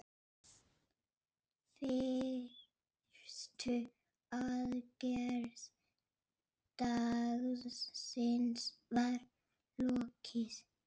Fyrstu aðgerð dagsins var lokið.